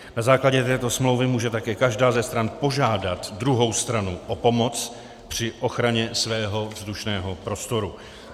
Na základě této smlouvy může také každá ze stran požádat druhou stranu o pomoc při ochraně svého vzdušného prostoru.